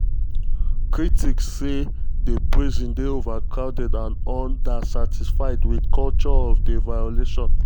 critics say um di prison dey overcrowded and understaffed wit culture of of violence.